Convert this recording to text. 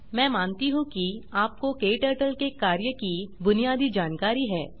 मैं मानती हूँ कि आपको क्टर्टल के कार्य की बुनियादी जानकारी है